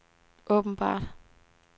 åbenbart